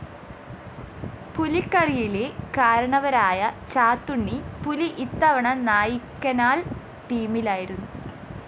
പുലിക്കളിയിലെ കാരണവരായ ചാത്തുണ്ണി പുലി ഇത്തവണ നായ്ക്കനാല്‍ ടീമിലായിരുന്നു